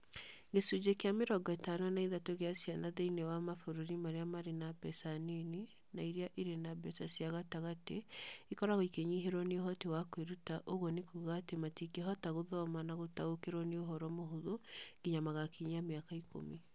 Gĩcunjĩ kĩa mĩrongo ĩtano na ithatũ gĩá ciana thĩinĩ wa mabũrũri marĩa marĩ na mbeca nini na iria irĩ na mbeca cia gatagatĩ ikoragwo ikĩnyihĩrwo nĩ ũhoti wa kwĩruta ũguo nĩ kuuga matingĩhota gũthoma na gũtaũkĩrũo nĩ ũhoro mũhũthũ nginya magakinyia mĩaka ikũmi.